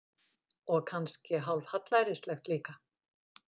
Og kannski hálf hallærislegt líka.